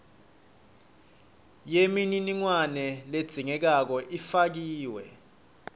yemininingwane ledzingekako ifakiwe